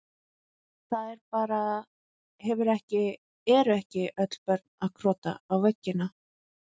Það er bara, hefur ekki, eru ekki öll börn að krota á veggina?